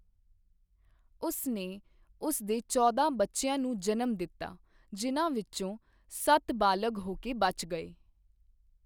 ਉਸ ਨੇ ਉਸ ਦੇ ਚੌਦਾਂ ਬੱਚਿਆਂ ਨੂੰ ਜਨਮ ਦਿੱਤਾ, ਜਿਨ੍ਹਾਂ ਵਿੱਚੋਂ ਸੱਤ ਬਾਲਗ ਹੋ ਕੇ ਬਚ ਗਏ।